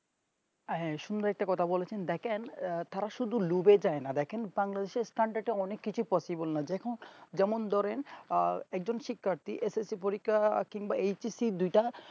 আহ সুন্দর একটা কথা বলেছেন দেখেন তারা সুদু ডুবে যাই না দেখেন সাঙ্গ সেই স্থানটা একটা অনেক কিছু Possible না দেখুন যেমন ধরেন একজন শিক্ষার্থী SSC পরীক্ষা কিংবা HCC দুইটা